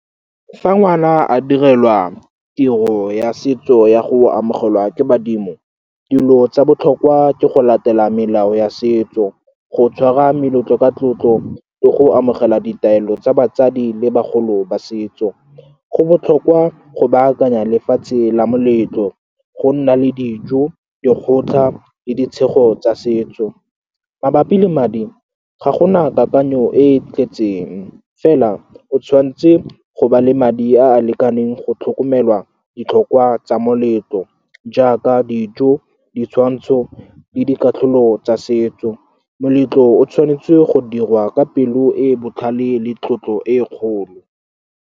Fa ngwana a direlwa tiro ya setso ya go amogelwa ke badimo, dilo tsa botlhokwa ke go latela melao ya setso, go tshwara meletlo ka tlotlo le go amogela ditaelo tsa batsadi le bagolo ba setso. Go botlhokwa go baakanya lefatshe la moletlo, go nna le dijo, dikgotlha le ditshenyego tsa setso. Mabapi le madi, ga gona kakanyo e e tletseng fela, o tshwanetse go ba le madi a a lekaneng go tlhokomelwa ditlhokwa tsa moletlo jaaka dijo, ditshwantsho le dikatlholo tsa setso. Moletlo o tshwanetse go dirwa ka pelo e botlhale le tlotlo e e kgolo.